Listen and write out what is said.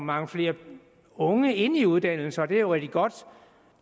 mange flere unge ind i uddannelserne og det er jo rigtig godt